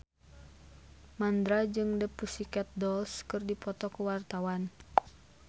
Mandra jeung The Pussycat Dolls keur dipoto ku wartawan